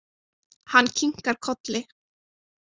Hann kinkar kolli.